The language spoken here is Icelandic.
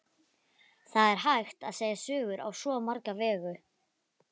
Það er hægt að segja sögur á svo marga vegu.